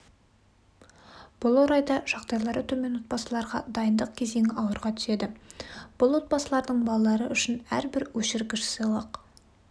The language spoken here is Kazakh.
бұл орайда жағдайлары төмен отбасыларға дайындық кезеңі ауырға түседі бұл отбасылардың балалары үшін әрбір өшіргіш сыйлық